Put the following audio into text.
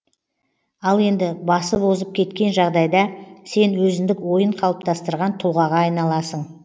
ал енді басып озып кеткен жағдайда сен өзіндік ойын қалыптастырған тұлғаға айналасың